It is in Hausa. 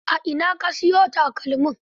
A ina aka siyo ma takalmin?